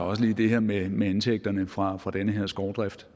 også lige det her med med indtægterne fra fra den her skovdrift